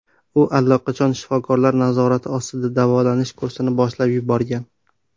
U allaqachon shifokorlar nazorati ostida davolanish kursini boshlab yuborgan.